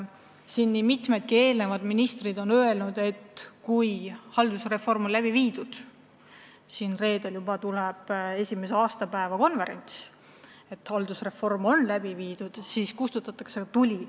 Nii mõnigi varasem minister on öelnud, et kui haldusreform on läbi viidud – ja reedel tuleb ju selle esimese aastapäeva konverents –, siis kustutatakse tuli.